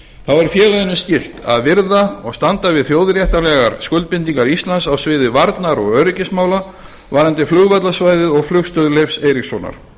þá er félaginu er skylt að virða og standa við þjóðréttarlegar skuldbindingar íslands á sviði varnar og öryggismála varðandi flugvallarsvæðið og flugstöð leifs eiríkssonar